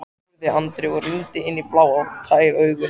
spurði Andri og rýndi inn í blá og tær augun.